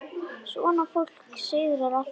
Svona fólk sigrar alltaf.